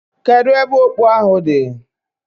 Kedu ebe okpu ahu di?